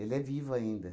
é vivo ainda.